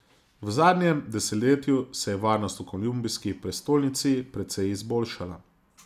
V zadnjem desetletju se je varnost v kolumbijski prestolnici precej izboljšala.